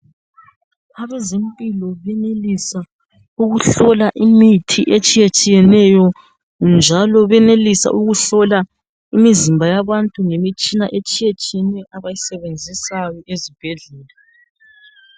Abezempilo benelisa ukuhlola imithi etshiyetshiyeneyo njalo benelisa ukuhlola imizimba yabantu ngemitshina etshiyetshiyeneyo abayisebenzayo ezibhedlela.